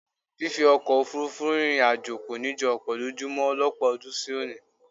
Fífi ọkọ̀ òfuurufú rìnrìn àjò kò ní jọ ọ̀pọ̀ lójú mọ lọ́pọ̀ ọdún sí òní